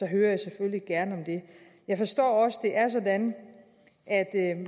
hører jeg selvfølgelig gerne om det jeg forstår også er det er sådan at